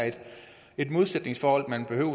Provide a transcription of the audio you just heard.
et modsætningsforhold man behøver